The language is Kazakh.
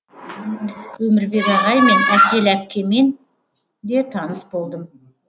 өмірбек ағай мен әсел әпкемен де таныс болдым